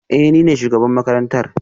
Ee, ni ne shugaban makarantar